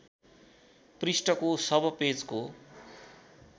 पृष्ठको सब पेजको